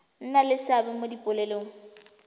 nna le seabe mo dipoelong